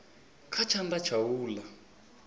kha tshanḓa tsha u ḽa